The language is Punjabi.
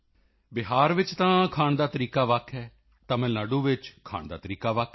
ਬਿਹਾਰ ਵਿੱਚ ਤਾਂ ਖਾਣ ਦਾ ਤਰੀਕਾ ਵੱਖ ਹੈ ਤਮਿਲ ਨਾਡੂ ਵਿੱਚ ਖਾਣ ਦਾ ਤਰੀਕਾ ਵੱਖ ਹੈ